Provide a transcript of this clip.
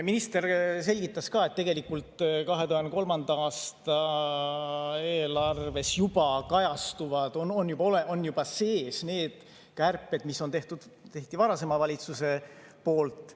Minister selgitas ka, et tegelikult 2023. aasta eelarves on juba sees kärped, mis on tehtud, mis tehti varasema valitsuse poolt.